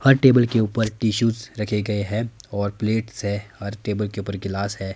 हर table के ऊपर tissues रखें गए हैं और प्लेट्स हैं और टेबल के ऊपर गिलास हैं।